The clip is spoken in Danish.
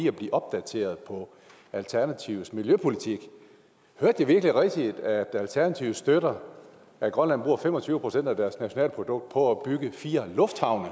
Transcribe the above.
at blive opdateret om alternativets miljøpolitik hørte jeg virkelig rigtigt at alternativet støtter at grønland bruger fem og tyve procent af deres nationalprodukt på at bygge fire lufthavne